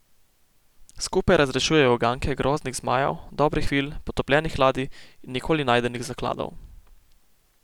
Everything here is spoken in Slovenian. Skupaj razrešujejo uganke groznih zmajev, dobrih vil, potopljenih ladij in nikoli najdenih zakladov.